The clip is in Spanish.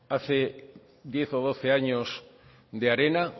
hace diez o doce años de arena